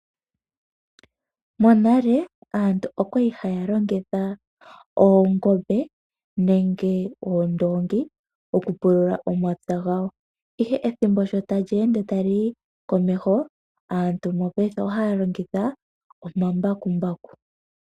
Monale aantu okwali halongitha Oongombe nenge Oondongi okupulula omapya gawo ihe ethimbo tali ende tali yi komeho aantu mopaife ohalongitha omambakumbaku.